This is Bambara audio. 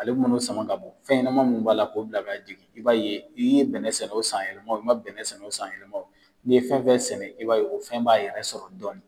Ale man'o sama ka bɔ fɛnɲɛnama min b'a la k'o bila ka jigin, i b'a ye, i ye bɛnɛ sɛnɛ o san yɛlɛma, i ma bɛnɛ sɛnɛ o san yɛlɛma o, n'i ye fɛn fɛn sɛnɛ, i b'a ye o fɛn b'a yɛrɛ sɔrɔ dɔɔnin.